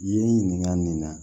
Yen ɲininka nin na